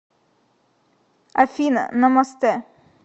афина намастэ